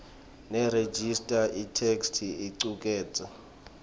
nerejista itheksthi icuketse